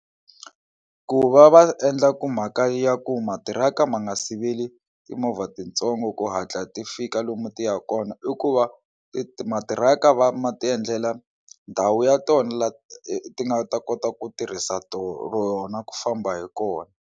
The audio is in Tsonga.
Ku va va endla ku mhaka ya ku matiraka ma nga siveli timovha titsongo ku hatla ti fika lomu ti ya kona i ku va ti matiraka va ma ti endlela ndhawu ya tona la ti nga ta kota ku tirhisa rona ku famba hi kona.